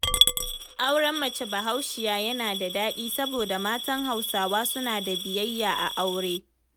Auren mace Bahaushiya yana da daɗi saboda matan Hausawa suna da biyayya a aure.